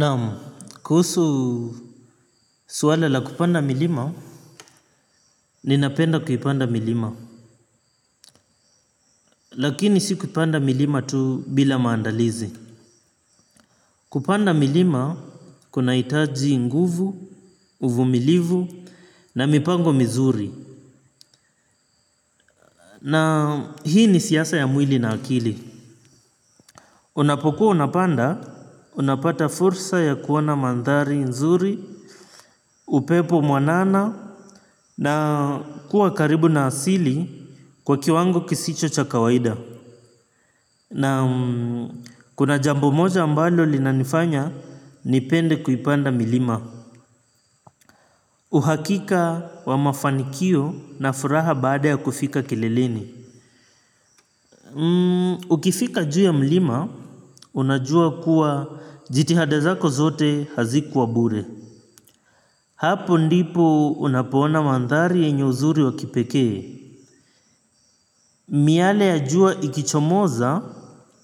Naam kuhusu swala la kupanda milima ninapenda kuipanda milima. Lakini si kupanda milima tu bila maandalizi. Kupanda milima kuna hitaji nguvu, uvumilivu na mipango mizuri. Na hii ni siasa ya mwili na akili. Unapokuwa unapanda, unapata fursa ya kuona mandhari nzuri, upepo mwanana. Na kuwa karibu na asili kwa kiwango kisicho cha kawaida. Naam kuna jambo moja ambalo linanifanya nipende kuipanda milima. Uhakika wa mafanikio na furaha baada ya kufika kileleni. Ukifika juu ya mlima, unajua kuwa jitihada zako zote hazikuwa bure. Hapo ndipo unapoona mandhari yenye uzuri wa kipekee. Miale ya jua ikichomoza